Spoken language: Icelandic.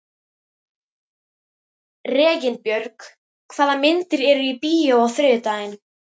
Reginbjörg, hvaða myndir eru í bíó á þriðjudaginn?